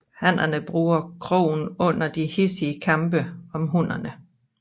Hannerne bruger krogen under de hidsige kampe om hunnerne